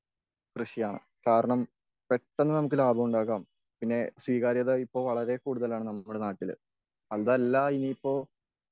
കൃഷിയാണ്.കാരണം പെട്ടന്ന് നമുക്ക് ലാഭം ഉണ്ടാക്കാം.പിന്നെ സ്വീകാര്യത ഇപ്പോ വളരെ കൂടുതലാണ് നമ്മുടെ നാട്ടിൽ.അതല്ല ഇനിയിപ്പോൾ